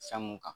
Fɛn mun kan